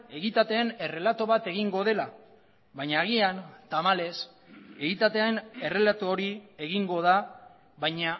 egitateen errelato bat egingo dela baina agian tamalez egitatean errelato hori egingo da baina